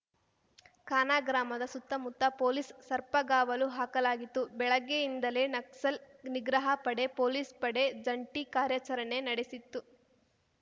ಕಾನ ಗ್ರಾಮದ ಸುತ್ತಮುತ್ತ ಪೊಲೀಸ್‌ ಸರ್ಪಗಾವಲು ಹಾಕಲಾಗಿತ್ತುಬೆಳಗ್ಗೆಯಿಂದಲೇ ನಕ್ಸಲ್‌ ನಿಗ್ರಹ ಪಡೆ ಪೊಲೀಸ್‌ ಪಡೆ ಜಂಟೀ ಕಾರ್ಯಾಚರಣೆ ನಡೆಸಿತ್ತು